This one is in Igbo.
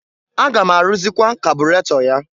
Aga m arụrzịkwa kabụrato ya.